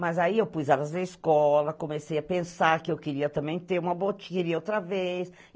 Mas aí eu pus elas na escola, comecei a pensar que eu queria também ter uma botiqueria outra vez.